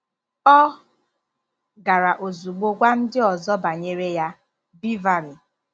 Ọ gara ozugbo gwa ndị ọzọ banyere ya! ”— Beverly.